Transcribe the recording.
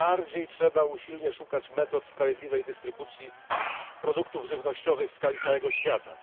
Tym bardziej trzeba usilnie szukać metod sprawiedliwej dystrybucji produktów żywnościowych w skali całego świata.